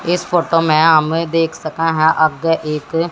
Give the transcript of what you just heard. इस फोटो में हमें देख सके है आगे एक--